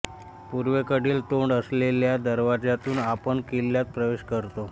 पूर्वेकडील तोंड असलेल्या दरवाजातून आपण किल्ल्यात प्रवेश करतो